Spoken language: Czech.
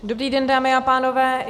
Dobrý den, dámy a pánové.